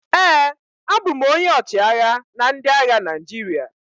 ee, abụ m onye ọchịagha na ndị agha Naijiria